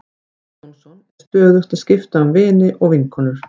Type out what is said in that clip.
Jón Jónsson er stöðugt að skipta um vini og vinkonur.